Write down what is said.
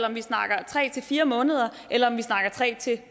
om vi snakker tre fire måneder eller om vi snakker tre